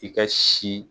I ka si